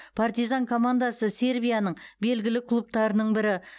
партизан командасы сербияның белгілі клубтарының бірі